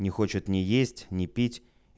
не хочет ни есть не пить